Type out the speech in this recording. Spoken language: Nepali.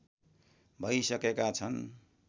भइसकेका छन्